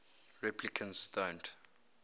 replicants don't